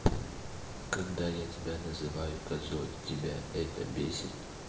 когда я тебя называю козой тебя это бесит